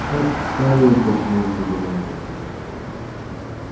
как в старые добрые времена